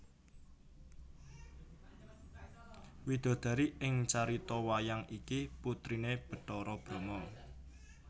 Widodari ing carita wayang iki putriné Bathara Brama